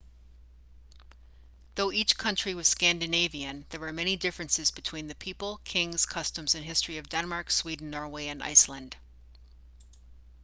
though each country was scandinavian' there were many differences between the people kings customs and history of denmark sweden norway and iceland